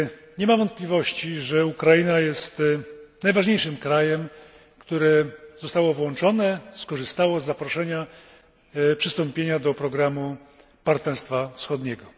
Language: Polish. Nie ma wątpliwości, że Ukraina jest najważniejszym krajem, który został włączony, skorzystał z zaproszenia do przystąpienia do programu partnerstwa wschodniego.